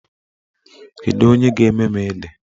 Kedu onye ga-eme m ede?